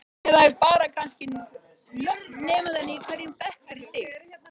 Eða kannski bara nöfn nemenda í hverjum bekk fyrir sig?